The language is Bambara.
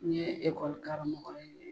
N ye ekɔli karamɔgɔ ye